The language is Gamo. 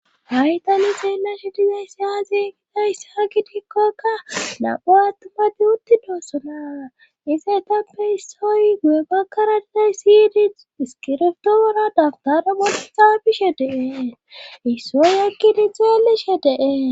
Haytani seelashe dizays si haazeegidayss ha gidgikkokka da'u attuma de uttidoossona ise tappe issoy gu'e bakkara dizay siyidi iskirftooera dagtare golexa bishe dee issoy ekki di xeeleshe dee.